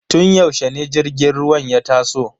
Tun yaushe ne jirgin ruwan ya taso?